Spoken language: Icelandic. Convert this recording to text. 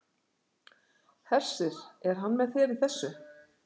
Hersir: Er hann með þér í þessu?